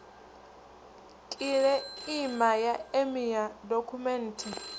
u kiḽeima ya emia dokhumenthe